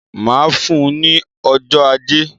Màá fún un ní ọjọ́ ajé